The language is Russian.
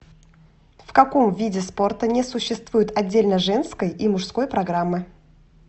в каком виде спорта не существует отдельно женской и мужской программы